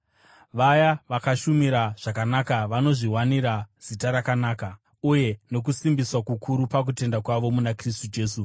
Vaya vakashumira zvakanaka vanozviwanira zita rakanaka uye nokusimbiswa kukuru pakutenda kwavo muna Kristu Jesu.